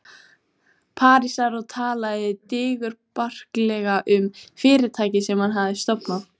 Parísar og talaði digurbarkalega um fyrirtækið sem hann hafði stofnað.